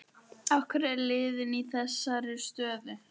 Af hverju er liðið í þessari stöðu?